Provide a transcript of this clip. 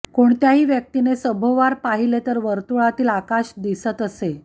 कोणत्याही व्यक्तीने सभोवार पाहिले तर वर्तुळातील आकाश दिसत असे